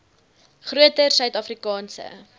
groter suid afrikaanse